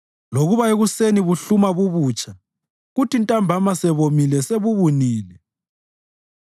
lokuba ekuseni buhluma bubutsha, kuthi ntambama sebomile sebubunile.